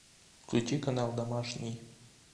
включи канал домашний